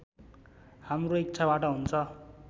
हाम्रो इच्छाबाट हुन्छ